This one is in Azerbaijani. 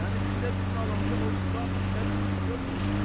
Yəni gündə birini alanda o xilafi şəri iş görmür ki.